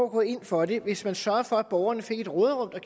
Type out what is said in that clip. gå ind for det hvis man sørger for at borgerne får et råderum der